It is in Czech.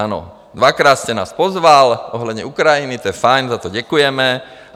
Ano, dvakrát jste nás pozval ohledně Ukrajiny, to je fajn, za to děkujeme.